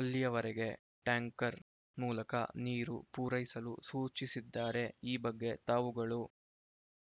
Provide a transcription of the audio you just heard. ಅಲ್ಲಿಯವರೆಗೆ ಟ್ಯಾಂಕರ್‌ ಮೂಲಕ ನೀರು ಪೂರೈಸಲು ಸೂಚಿಸಿದ್ದಾರೆ ಈ ಬಗ್ಗೆ ತಾವುಗಳು